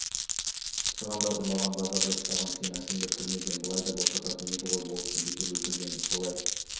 цығандар ұрлаған базарда ұстаған сені әкімдер түрмеден былай да босататын еді ғой болысты бекер өлтірген солай